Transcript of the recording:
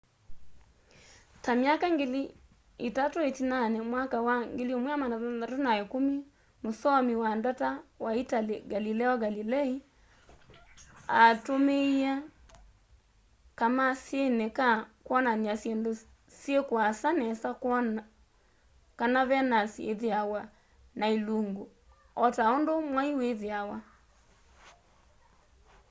ta myaka ngili itatũ ĩtinanĩ mwakani wa 1610 mũsoomi wa ndata wa italy galileo galilei aatũmĩie kamasini ka kwonan'ya syĩndũ syi kuasa nesa kwona kana venus ithiawa na ilungu o ta ũndũ mwai wĩthĩawa